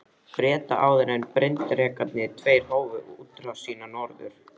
Breta, áður en bryndrekarnir tveir hófu útrás sína norður.